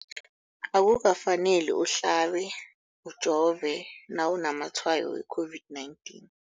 Akuka faneli uhlabe, ujove nawu namatshayo we-COVID-19.